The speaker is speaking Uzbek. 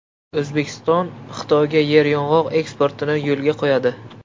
O‘zbekiston Xitoyga yeryong‘oq eksportini yo‘lga qo‘yadi.